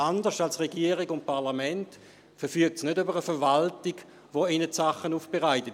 Anders als die Regierung und das Parlament verfügt die Stimmbürgerschaft nicht über eine Verwaltung, die ihr die Dinge aufbereitet;